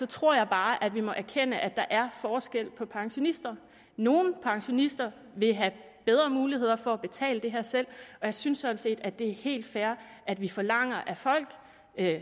tror jeg bare at vi må erkende at der er forskel på pensionister nogle pensionister vil have bedre muligheder for at betale det her selv jeg synes sådan set at det er helt fair at vi forlanger at folk